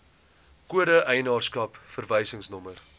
kode eienaarskap verwysingsnommer